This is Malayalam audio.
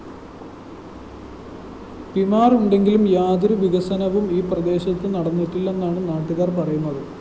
പിമാര്‍ ഉണ്ടെങ്കിലും യാതൊരുവികസനവും ഈ പ്രദേശത്തു നടന്നിട്ടില്ലെന്നാണു നാട്ടുകാര്‍ പറയുന്നത്